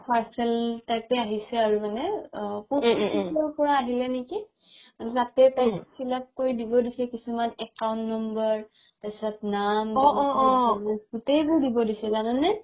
parcel type য়ে আহিছে আৰু মানে আ পৰা আহিলে নেকি তাতে তাইক fill up কৰি দিব দিছে কিছুমান account number তাৰ পিছত নাম গুতেই বোৰ দিব দিছে জানানে